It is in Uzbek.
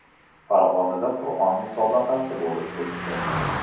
Farg‘onada Qur’on musobaqasi bo‘lib o‘tdi.